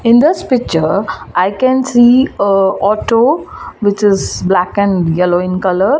in this picture i can see uh auto which is black and yellow in colour.